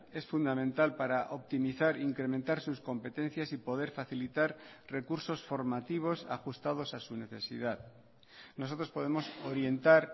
es fundamental para optimizar incrementar sus competencias y poder facilitar recursos formativos ajustados a su necesidad nosotros podemos orientar